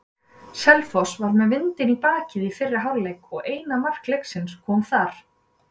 Selfoss var með vindinn í bakið í fyrri hálfleik og eina mark leiksins kom þar.